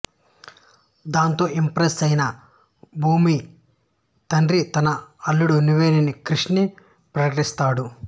దాంతో ఇంప్రెస్ అయిన భూమి తండ్రి నా అల్లుడు నువ్వే అని క్రిష్ ని ప్రకటిస్తాడు